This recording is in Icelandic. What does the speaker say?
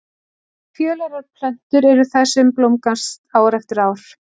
Fjölærar plöntur eru þær sem blómgast ár eftir ár.